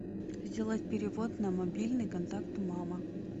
сделать перевод на мобильный контакт мама